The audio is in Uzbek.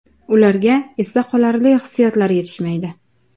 Ularga esda qolarli hissiyotlar yetishmaydi!